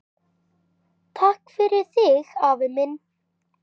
Takk fyrir þig, afi minn.